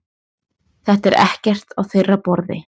Þetta er ekkert á þeirra borði